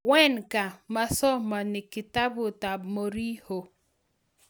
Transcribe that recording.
Wenger: mosomoni kitabut ab Mourinho.